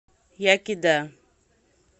яки да